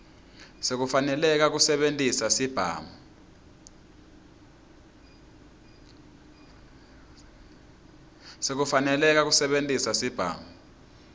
sekufaneleka kusebentisa sibhamu